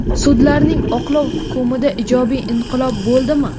Sudlarning oqlov hukmida ijobiy inqilob bo‘ldimi?.